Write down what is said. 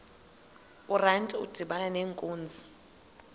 urantu udibana nenkunzi